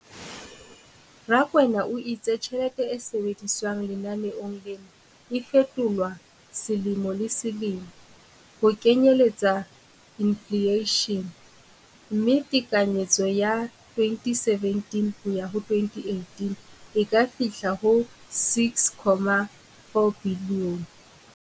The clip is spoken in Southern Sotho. Rakwena o itse tjhelete e sebediswang lenaneong lena e fetolwa selemo le selemo ho kenyelletsa infleishene, mme tekanyetso ya 2017-18 e ka fihla ho R6.4 bilione.